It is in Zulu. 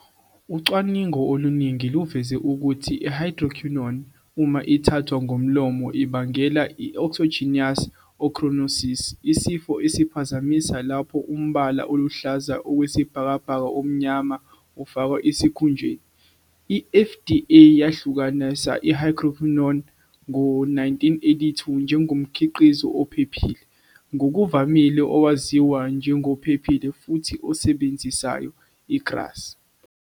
Ucwaningo oluningi luveze ukuthi i-hydroquinone, uma ithathwa ngomlomo, ingabangela i-exogenous ochronosis, isifo esiphazamisa lapho umbala oluhlaza okwesibhakabhaka-omnyama ufakwa esikhunjeni. I-FDA yahlukanisa i-hydroquinone ngo-1982 njengomkhiqizo ophephile - ngokuvamile owaziwa njengophephile futhi osebenzayo, i-GRASE.